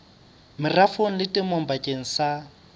merafong le temong bakeng sa